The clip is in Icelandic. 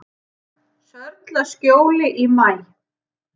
Sörlaskjóli í maí